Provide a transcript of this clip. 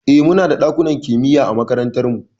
Eh, muna da ɗakunan kimiya a makarantar mu.